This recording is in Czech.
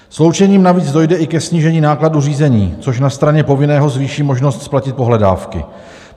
Sloučením navíc dojde i ke snížení nákladů řízení, což na straně povinného zvýší možnost splatit pohledávky.